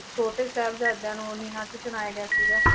ਛੋਟੇ ਸਾਹਿਬਜ਼ਾਦਿਆਂ ਨੂੰ ਨੀਹਾਂ 'ਚ ਚਿਣਾਇਆ ਗਿਆ ਸੀਗਾ।